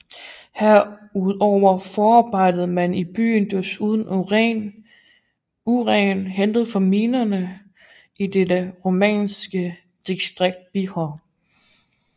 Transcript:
Herudover forarbejdede man i byen desuden uran hentet fra minen i det rumænske distrikt Bihor